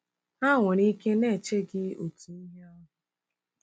Ha nwere ike na-eche gị otu ihe ahụ.